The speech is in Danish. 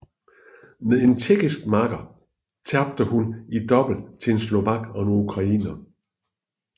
Med en tjekkisk makker tabte hun i double til en slovak og ukrainer